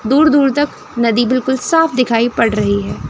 दूर दूर तक नदी बिल्कुल साफ दिखाई पड़ रही है।